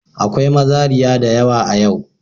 Akwai mazariya da yawa a yau.